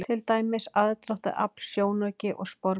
Til dæmis: aðdráttarafl, sjónauki og sporbaugur.